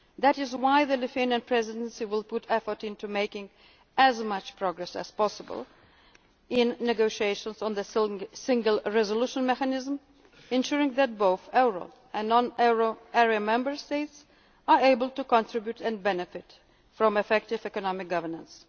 union also. That is why the Lithuanian Presidency will put effort into making as much progress as possible in negotiations on the single resolution mechanism, ensuring that both the euro and non euro area Member States are able to contribute and benefit from effective economic